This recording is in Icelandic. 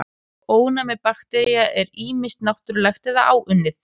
Ónæmi baktería er ýmist náttúrlegt eða áunnið.